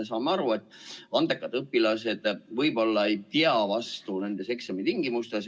Me saame aru, et andekad õpilased võib-olla ei pea vastu nendes eksamitingimustes.